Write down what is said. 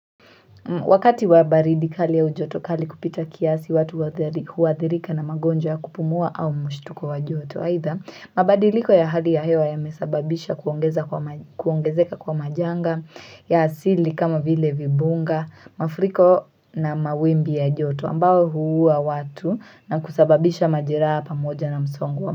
Wakati wabaridi kali ya ujoto kali kupita kiasi watu uathirika na magonjwa ya kupumua au mshtuko wa joto either mabadiliko ya hali ya hewa yamesababisha kuongezeka kwa majanga ya asili kama vile vibunga mafuriko na mawimbi ya joto ambao huuwa watu na kusababisha majeraa pamoja na msongo.